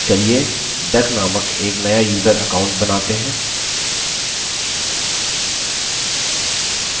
चलिए duck named एक नया यूज़र account बनाते हैं